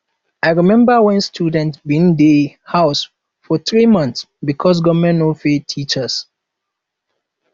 i rememba wen students bin dey house for three months because government no pay teachers